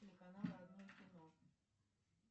телеканал родное кино